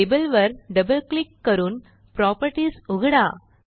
label वर double click करून properties उघडा